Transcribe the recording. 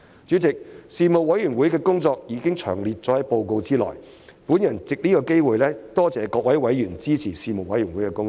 主席，事務委員會的工作已詳列於報告內，我藉此機會多謝各位委員支持事務委員會的工作。